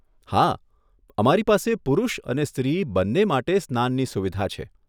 હા, અમારી પાસે પુરુષ અને સ્ત્રી બંને માટે સ્નાનની સુવિધા છે.